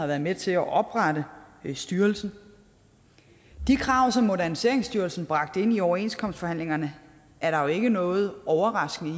været med til at oprette styrelsen de krav som moderniseringsstyrelsen bragte ind i overenskomstforhandlingerne er der jo ikke noget overraskende i